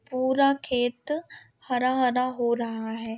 पूरा खेत हरा-हरा हो रहा है।